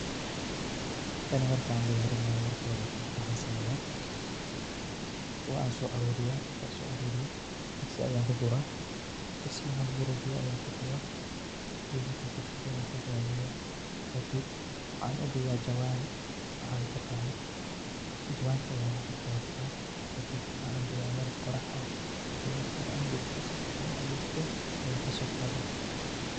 Taani markan ay diyarinayo marka kowad waxan sameya waan soaruriya marka soaruriyo digsi ayan kuguraa, digsi marki an kuguro biyaa ayan kushuwa, biya markan kushuwo wan kadadiya, kadib waxan udiga jawan waxad utaganid, jawanti ayan kukor dadiya, kadib waxan diga mel qorax ah , kadib marki ay engegto sufican u en gegto ayan kadogada.